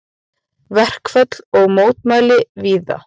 Verkföll og mótmæli víða